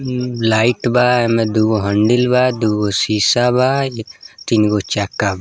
इम लाइट बा एमे दूगो हैंडल बा दूगो शीशा बा इ तीन गो चक्का |